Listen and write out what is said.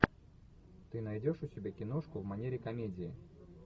ты найдешь у себя киношку в манере комедии